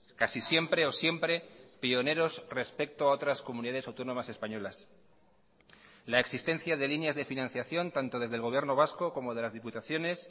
casi siempre o siempre pioneros respecto a otras comunidades autónomas españolas la existencia de líneas de financiación tanto desde el gobierno vasco como de las diputaciones